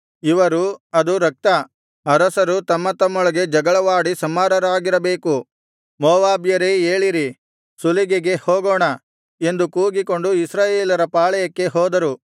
ಇವರು ಅದು ರಕ್ತ ಅರಸರು ತಮ್ಮ ತಮ್ಮೊಳಗೆ ಜಗಳವಾಡಿ ಸಂಹಾರರಾಗಿರಬೇಕು ಮೋವಾಬ್ಯರೇ ಏಳಿರಿ ಸುಲಿಗೆಗೆ ಹೋಗೋಣ ಎಂದು ಕೂಗಿಕೊಂಡು ಇಸ್ರಾಯೇಲರ ಪಾಳೆಯಕ್ಕೆ ಹೋದರು